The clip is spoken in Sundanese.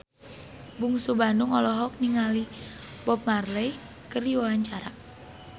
Bungsu Bandung olohok ningali Bob Marley keur diwawancara